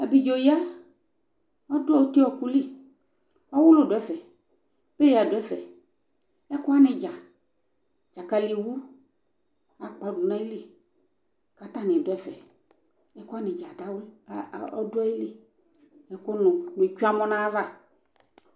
abidzɔ ya ɔdʋ ɔkʋli, ɔwʋlʋ dʋ ɛƒɛ paya dʋ ɛƒɛ ɛkʋ wani dza, dzakali wʋ atadʋ nʋ ayili kʋ atani dʋɛƒɛ, ɛkʋ wani dza adawli ɔdʋali ɛkʋ nʋ ɔtwɛ amɔ nʋ ayiava